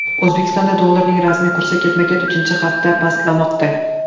O‘zbekistonda dollarning rasmiy kursi ketma-ket uchinchi hafta pastlamoqda.